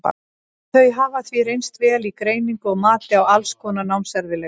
þau hafa því reynst vel í greiningu og mati á alls konar námserfiðleikum